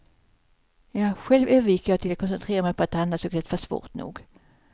Själv övergick jag till att koncentrera mig på att andas, det var svårt nog.